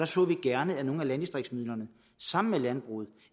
så gerne at nogle af landdistriktsmidlerne sammen med landbruget